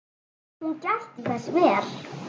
Hún gætti þess vel.